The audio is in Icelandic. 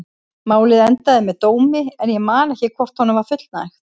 Málið endaði með dómi en ég man ekki hvort honum var fullnægt.